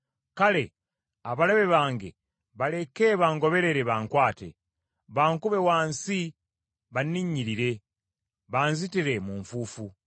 Kale, abalabe bange baleke bangoberere bankwate, bankube wansi banninnyirire, banzitire mu nfuufu.